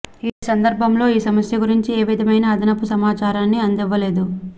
ఈ సందర్భంలో ఈ సమస్య గురించి ఏ విధమైన అదనపు సమాచారాన్ని అందివ్వలేదు